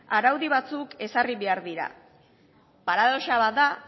araudi batzuk ezarri behar dira paradoxa bat da